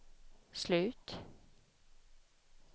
slut